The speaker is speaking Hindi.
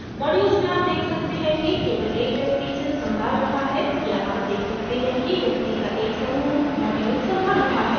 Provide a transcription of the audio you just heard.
modules में आप देख सकते हैं कि केवल एक व्यक्ति इसे संभाल रहा है या आप देख सकते हैं कि व्यक्ति का एक समूह module संभाल रहा है